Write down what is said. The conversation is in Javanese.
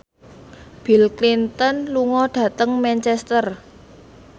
Bill Clinton lunga dhateng Manchester